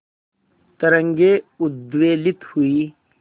तरंगे उद्वेलित हुई